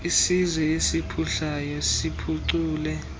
isizwe esiphuhlayo siphucule